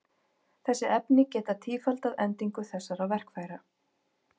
Þessi efni geta tífaldað endingu þessara verkfæra.